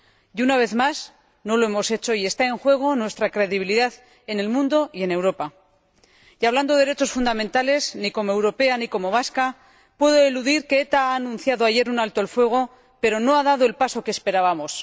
y, una vez más, no lo hemos hecho y está en juego nuestra credibilidad en el mundo y en Europa. Y hablando de derechos fundamentales, ni como europea ni como vasca puedo eludir que ETA anunció ayer un alto el fuego, pero no ha dado el paso que esperábamos.